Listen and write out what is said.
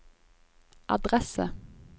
adresse